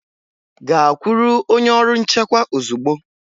Gaa kwụrụ onye ọrụ nchekwa ozugbo!